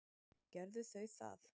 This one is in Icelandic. Gerðu þau það.